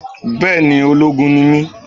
Bẹẹni, ológun ni mi